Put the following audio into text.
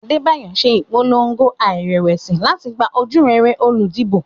Adebayo ń ṣe ìpolongo láìrẹ̀wẹ̀sì láti gba ojúrere olùdìbò.